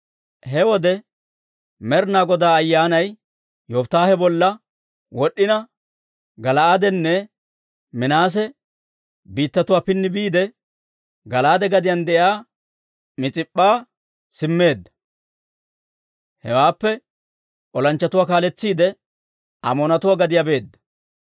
He wode Med'inaa Goday Ayyaanay Yofittaahe bolla wod'd'ina, Gala'aadenne Minaase biittatuwaa pini biidde, Gala'aade gadiyaan de'iyaa Mis'ip'p'a simmeedda; hewaappe olanchchatuwaa kaaletsiide, Amoonatuwaa gadiyaa beedda.